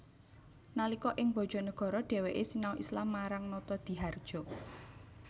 Nalika ing Bojonegoro dheweke sinau Islam marang Notodihardjo